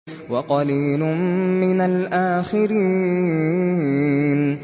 وَقَلِيلٌ مِّنَ الْآخِرِينَ